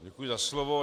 Děkuji za slovo.